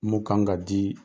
Mun kan ka di